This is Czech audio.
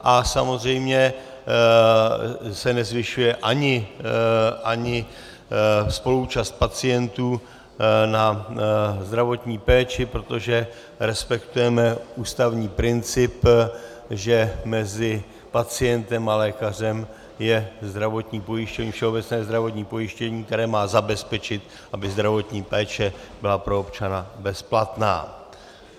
A samozřejmě se nezvyšuje ani spoluúčast pacientů na zdravotní péči, protože respektujeme ústavní princip, že mezi pacientem a lékařem je všeobecné zdravotní pojištění, které má zabezpečit, aby zdravotní péče byla pro občana bezplatná.